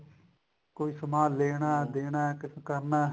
ਕੋਈ ਸਮਾਨ ਲੇਣਾ ਦੇਣਾ ਕੁੱਛ ਕਰਨਾ